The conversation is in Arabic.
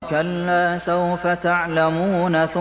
كَلَّا سَوْفَ تَعْلَمُونَ